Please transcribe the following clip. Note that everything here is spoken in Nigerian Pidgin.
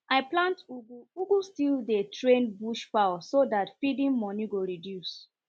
i plant ugu ugu still dey train bush fowl so that feeding moni go reduce